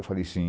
Eu falei sim.